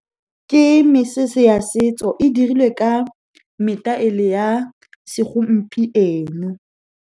Ke mesese ya setso, e dirilwe ka metaele ya segompieno.